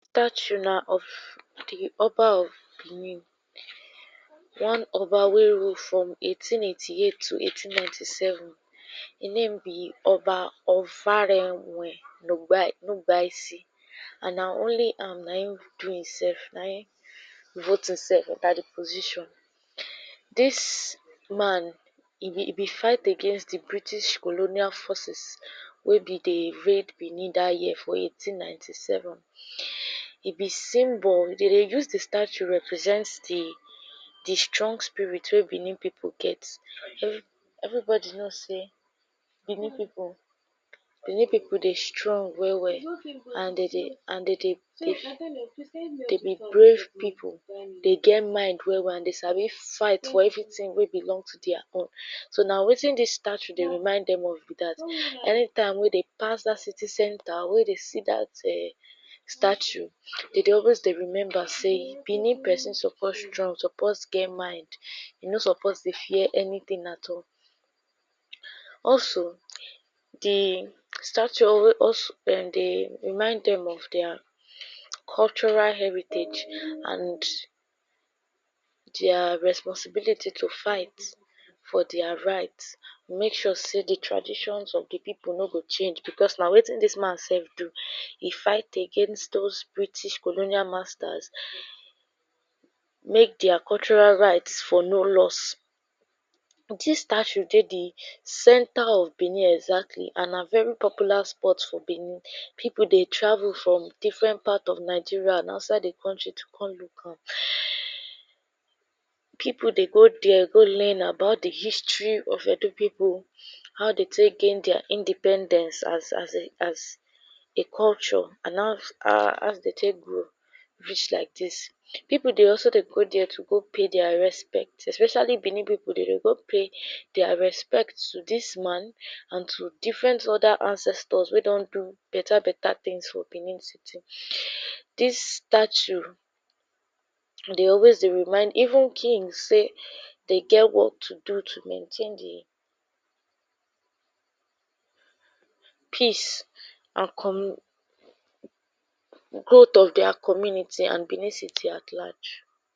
Statue, na of dey oba of Benin One Oba Ovonrom from 1888 t0 1897 E name be Oba Ovonramwen Nogba Nogbaisi. and na only na im do imself, na im vote imself enter the position dis man e be fight against the British colonial forces wey be the red Benin dah year for 1897. e be symbol, dem dey use the statue represent the the strong spirit wey Benin people get everybody know say Benin people dey strong well well and de dey, and de dey, dey be brave people, dey get mind well well and dey sabi fight for everything wey belong to their own so na wetin this statue dey remind them of be that anytime wey dey pass that city center, wey dey see that um statue de dey always rember say Benin person suppose strong, suppose get mind e no suppose dey fear anything at all. also, the statue dey? remind dem of their cultural heritage and their responsibility to fight for their right make sure say the traditions of the people no go change because na wetin dis man sef do, im fight against all those British colonial masters make their cultural rights for no lost Dis statue dey the center of Benin exactly and na very popular spot for Benin people dey travel from different part of Nigeria and outside the country to come look am people dey go there go learn about the history of Edo people how dey take gain their independence as as a culture and ?dey take grow reach like dis. People dey also dey go there to go pay their their respect especially Benin people, dey de go pay their respect to dis man and to different other ancestors wey don do better better things for Benin city. Dis statue dey always dey remind even kings sey dey get work to do to maintain the? peace and growth of their community and Benin city at large.